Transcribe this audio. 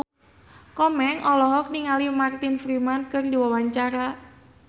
Komeng olohok ningali Martin Freeman keur diwawancara